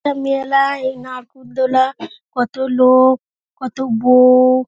একটা মেলার নাগর দোলনা | কত লোক কত বৌ |